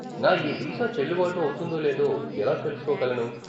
నా ఈ వీసా చెల్లుబాటు అవుతుందో లేదో ఎలా తెలుసుకోగలను?